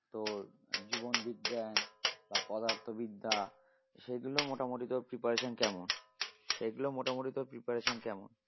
তোর জীবন বিজ্ঞান বা পদার্থ বিদ্যা সেগুলো মোটামোটি তোর preparation কেমন? সেগুলো মোটামোটি তোর preparation কেমন?